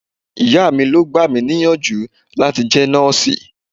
Ìyá mi ló gbà mí níyànjú láti jẹ́ nọ́ọ̀sì.